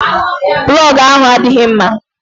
Plọgu ahụ adịghị mma.